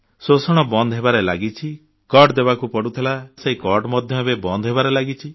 ଶୋଷଣ ବନ୍ଦ ହେବାରେ ଲାଗିଛି ହାତଗୁଞ୍ଜା ଦେବାକୁ ପଡୁଥିଲା ସେହି ହାତଗୁଞ୍ଜାବଟି ମଧ୍ୟ ଏବେ ବନ୍ଦ ହେବାରେ ଲାଗିଛି